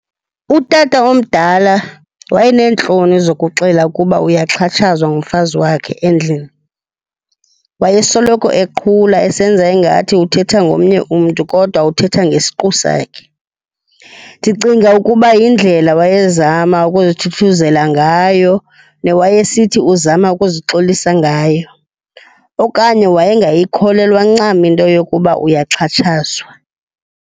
Utata omdala wayeneentloni zokuxela ukuba uyaxhatshazwa ngumfazi wakhe endlini. Wayesoloko eqhula esenza ingathi uthetha ngomnye umntu kodwa uthetha ngesiqu sakhe. Ndicinga ukuba yindlela wayezama ukuzithuthuzela ngayo newayesithi uzama ukuzixolisa ngayo, okanye wayengayikholelwa ncam into yokuba uyaxhatshazwa.